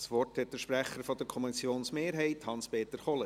Das Wort hat der Sprecher der Kommissionsmehrheit, Hans-Peter Kohler.